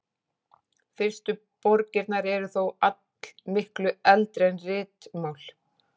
Fyrstu borgirnar eru þó allmiklu eldri en ritmál.